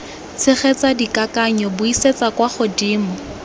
tshegetsa dikakanyo buisetsa kwa godimo